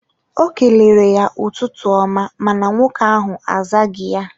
O kelere ya ụtụtụ ọma mana nwoke ahụ azaghị ya